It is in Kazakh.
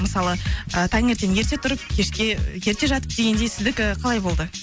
мысалы ы таңертең ерте тұрып кешке ерте жатып дегендей сіздікі қалай болды